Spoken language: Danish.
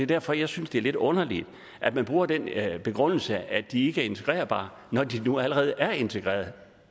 derfor jeg synes det er lidt underligt at man bruger den begrundelse at de ikke er integrerbare når de nu allerede er integreret